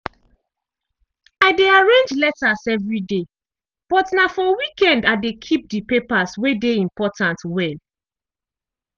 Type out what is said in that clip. i dey arrange letters evri day but na for weekend i de keep de papers wey dey important well.